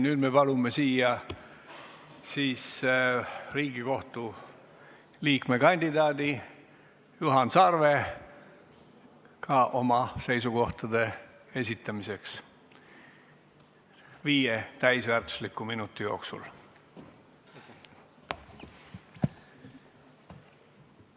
Nüüd me palume kõnetooli Riigikohtu liikme kandidaadi Juhan Sarve, et ta saaks viie täisväärtusliku minuti jooksul oma seisukohti esitada.